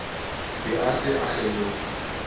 be a se a kgeloha